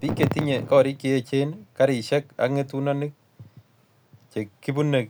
Bik chetinye korik cheechen, garisiek ak ngetunonik che kiibune